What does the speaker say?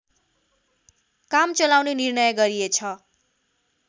काम चलाउने निर्णय गरिएछ